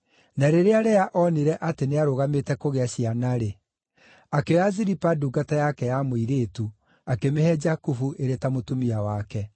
Na rĩrĩa Lea onire atĩ nĩarũgamĩte kũgĩa ciana-rĩ, akĩoya Zilipa ndungata yake ya mũirĩtu akĩmĩhe Jakubu ĩrĩ ta mũtumia wake.